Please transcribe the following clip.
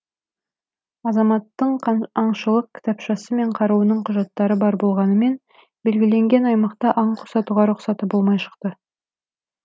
азаматтың аңшылық кітапшасы мен қаруының құжаттары бар болғанымен белгіленген аймақта аң құс атуға рұқсаты болмай шықты